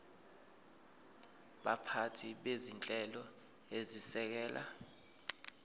baphathi bezinhlelo ezisekela